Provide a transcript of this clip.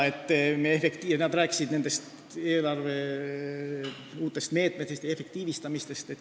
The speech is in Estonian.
Ka rääkisid nad eelarve uutest meetmetest ja efektiivistamisest.